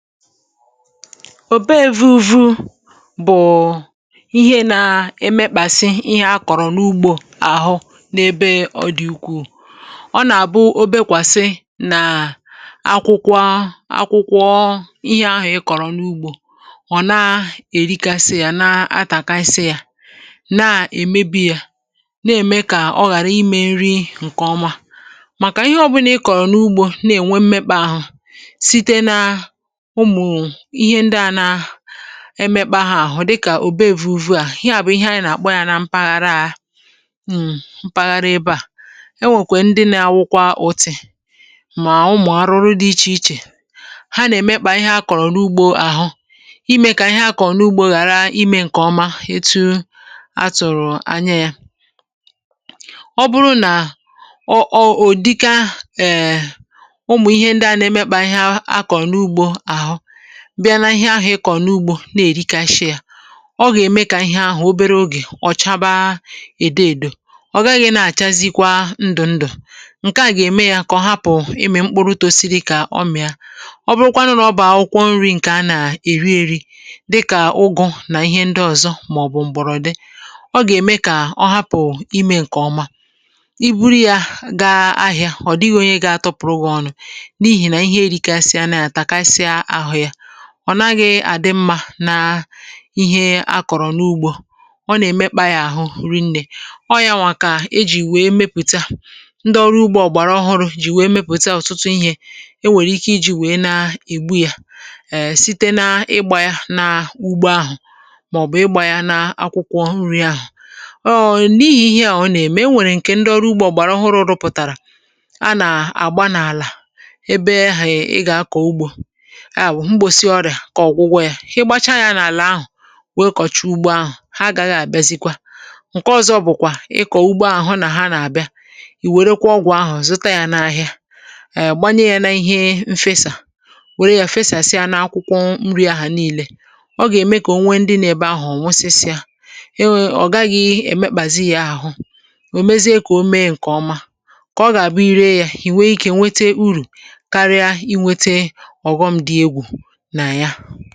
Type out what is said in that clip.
Òbe èvùuvu bụ ihe na-emekpàsi ihe akọrọ n’ugbo ahụ n’ebe ọ dị n’ukwù. Ọ na-abụkarị mgbe akwụkwọ ihe ahụ ịkọrọ n’ugbo, ọ na-erikasi ya, na ntakasi ya, na-eme ya, na-eme ka ọ ghara ime nri nke ọma. Maka ihe ọbụla ị kọrọ n’ugbo, na-enwe mmekpà ahụ site n’ụmụ ihe dị a na-emekpà ha ahụ, dịka òbe èvùuvu. Ihe a bụ ihe anyị na-akpọ ya n’mpaghara a mpaghara ebe a, enwekwara ndị na-awụkwa ùtị, ma ụmụ arụrụ dị iche iche ha na-emekpà ihe a kọrọ n’ugbo ahụ, ime ka ihe a kọrọ n’ugbo ghara ime nke ọma. Itu a tụrụ anya ya, ọ bụrụ na ọ dịka eee, bịa n’ahụ ihe ị kọrọ n’ugbo, na-erikasi ya, ọ ga-eme ka ihe ahụ obere oge ọ chaba edo edo, ọ gaghị na-achazikwa ndụ ndụ. Nke a ga-eme ya ka ọ hapụ ịmị mkpụrụ tosiri ka ọmịa. Ọ bụkwanụ na ọ bụ akwụkwọ nri nke a na-eri eri, dịka ụgụ na ihe ndị ọzọ maọbụ mgbọrọdị, ọ ga-eme ka ọ hapụ ime nke ọma. I buru ya gaa ahịa, ọ dịghị onye ga-azụ ya, n’ihi na ihe erikasịala na ya, takasịala ahụ ya. Ọ naghị adị mma n’ihe a kọrọ n’ugbo, ọ na-emekpà ya ahụ rịnne, o ya nwa ka e ji were mepụta ndị ọrụ ugbo ọhụrụ, iji were mepụta ọtụtụ ihe e nwere ike iji were na-egbu ya ee site n’ịgba ya n’ugbo ahụ, maọbụ ịgba ya n’akwụkwọ nri ahụ. Ọ n’ihi ihe a ọ na-eme ka e nwee nke ndị ọrụ ugbo ọhụrụ, ọrụ pụtara: a na-agba n’ala ebe a ga-akọ ugbo ka ọ bụrụ ọgwụgwọ ya. I gbaachaa ya n’ala ahụ, nwokọchị ugbo ahụ, ha ga-abịa ọzọ. Nke ọzọ bụkwa ịkọ ugbo ahụ, na ha na-abịa, i werekwa ọgwụ ahụ zụta ya n’ahịa, ee, gbanye ya n’ihe mfe, saa, were ya fesasịa n’akwụkwọ nri ahụ niile. Ọ ga-eme ka o nwee ndị na-anọ ebe ahụ, ọ nwụsịsịa iwu, ọ gaghị emekpazị ya ahụ. O mezie ka o mee nke ọma, ka ọ ga-abụ i ree ya, nwee ike, nwee uru karịa inweta oghọm dị egwu n’ahụ ya.